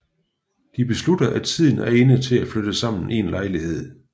De beslutter at tiden er inde til at flytte sammen i lejlighed